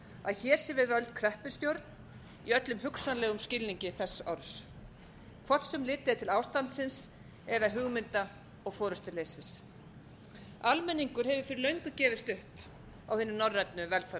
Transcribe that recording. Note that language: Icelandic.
að hér sé við völd kreppustjórn í öllum hugsanlegum skilningi þess orðs hvort sem litið er til ástandsins eða hugmynda og forustuleysis almenningur hefur fyrir löngu gefist upp á hinni norrænu